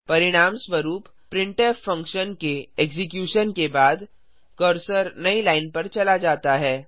परिणामस्वरूप printf function के execution के बाद कर्सर नई लाइन पर चला जाता है